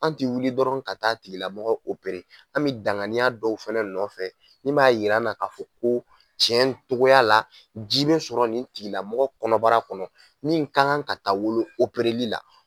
An tɛ wuli dɔrɔn ka taa tigilamɔgɔ , an bɛ danganiya dɔw fɛnɛ nɔfɛ, min b'a yir'an na, ka fɔ ko cɛn togoya la, ji bɛ sɔrɔ nin tigila mɔgɔ kɔnɔbara kɔnɔ, nin ka kan ka taga wolo la